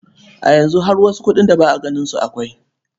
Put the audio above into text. A yanzu har wasu kuɗin da ba a ganin su akwai.